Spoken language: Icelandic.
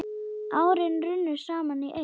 Árin runnu saman í eitt.